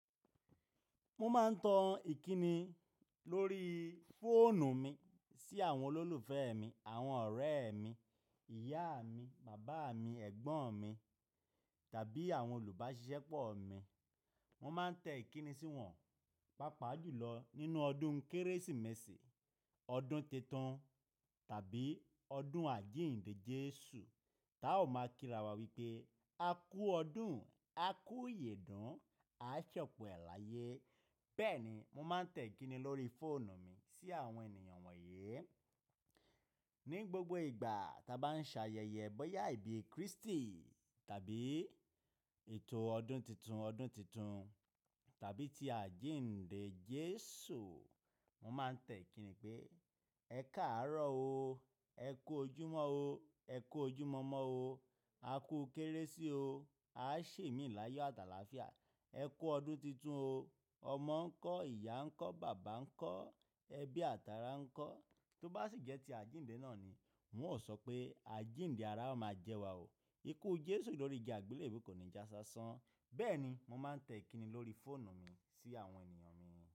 Mo máa ń tan ìkíni lórí fóònù mi sí àwọn olólùfẹ́ mi, àwọn ọ̀rẹ́ mi, ìyá mi, bàbá mi, ẹ̀gbọ́n mi tàbí àwọn olùbáṣiṣẹ́ pọ̀ mi. Wọ́n máa ń tẹ ìkíni sí wọn, pàápàá jùlọ nínú ọdún Kérésìmesì, ọdún titun tàbí ọdún àjíǹde Jésù. Táa ò máa kí ra wa wípé, "A kú ọdún, a kú ìyedún, a ṣẹpọ ẹ̀ láyé." Bẹ́ẹ̀ ni mo máa ń tẹ ìkíni lórí fóònù mi sí àwọn ènìyàn wọ̀nyí. Ni gbogbo ìgbà tí a bá ń ṣe ayẹyẹ bọ́yá ìbí Kristi tàbí ètò ọdún titun, ọdún titun tàbí ti àjíǹde Jésù, mo máa ń tẹ ìkíni pé, "Ẹ káàárọ̀ o. Ẹ kú ojúmọ́ o. Ẹ kú ojúmọmọ o. A kú Kérésì o. A ṣèmi láyọ àti alàáfíà. Ẹ kú ọdún titun o. Ọmọ ń kọ́, ìyá ń kọ́, bàbá ń kọ́, ẹbí àtàrà ń kọ́." Tó bá sì jẹ́ ti àjíǹde náà ni, wọn ò sọ pé, "Àjíǹde ará máa jẹ wa o. Ikú Jésù lórí igi àgbélébùú kò ní já si asán." Bẹ́ẹ̀ ni mo máa ń tẹ ìkíni lórí fóònù mi sí àwọn ènìyàn mi.